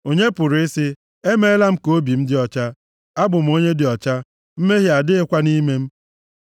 Onye pụrụ ị sị, “Emeela m ka obi m dị ọcha; Abụ m onye dị ọcha, mmehie adịghịkwa nʼime m?”